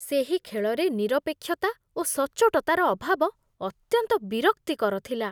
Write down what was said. ସେହି ଖେଳରେ ନିରପେକ୍ଷତା ଓ ସଚ୍ଚୋଟତାର ଅଭାବ ଅତ୍ୟନ୍ତ ବିରକ୍ତିକର ଥିଲା।